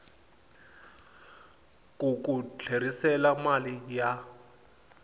ku ku tlherisela mali ya